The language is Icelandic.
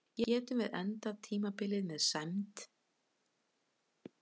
Getum endað tímabilið með sæmd